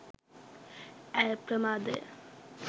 ඇය ප්‍රමාදය.